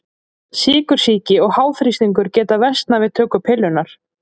Sykursýki og háþrýstingur geta versnað við töku pillunnar.